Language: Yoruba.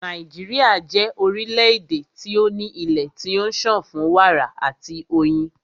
Nàíjíríà jẹ́ orílẹ̀-èdè tí o ní ilé tí ó ń sàn fún wàrà àti fún oyin.